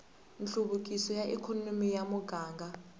nhluvukiso wa ikhonomi ya muganga